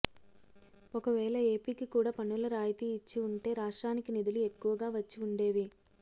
ఒకవేళ ఎపికి కూడా పన్నుల రాయితీ ఇచ్చి వుంటే రాష్ట్రానికి నిధులు ఎక్కువగా వచ్చి వుండేవి